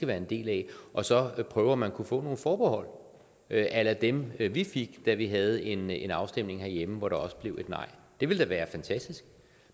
være en del af og så man prøve om man kunne få nogle forbehold a la dem vi fik da vi havde en en afstemning herhjemme hvor det også blev et nej det ville da være fantastisk